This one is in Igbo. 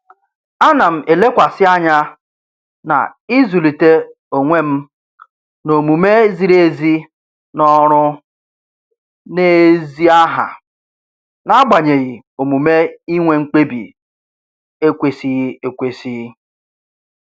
Ana m elekwasị anya na-ịzụlite onwe m n'omume ziri ezi n'ọrụ na ezi aha n'agbanyeghị omume inwe mkpebi ekwesịghị ekwesị